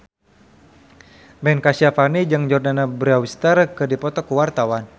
Ben Kasyafani jeung Jordana Brewster keur dipoto ku wartawan